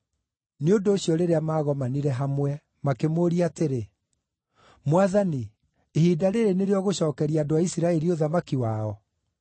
Nĩ ũndũ ũcio rĩrĩa maagomanire hamwe makĩmũũria atĩrĩ, “Mwathani, ihinda rĩĩrĩ nĩrĩo ũgũcookeria andũ a Isiraeli ũthamaki wao?”